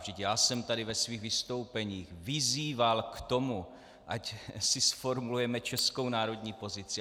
Vždyť já jsem tady ve svých vystoupeních vyzýval k tomu, ať si zformulujeme českou národní pozici.